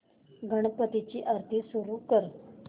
गणपती ची आरती सुरू कर